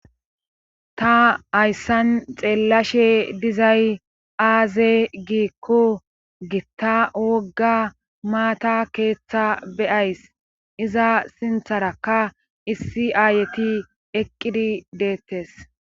ta hayssan xeellashe dizay aaze giikko gitta wogga maata keeththa beyays iza sintharakka issi aayeti eqqidi deettes